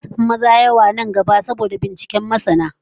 Mata zasu kara yawa fiye da maza nan gaba, bisa binciken masana